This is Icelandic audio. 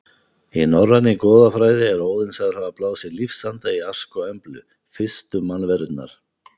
Í norrænni goðafræði er Óðinn sagður hafa blásið lífsanda í Ask og Emblu, fyrstu mannverurnar.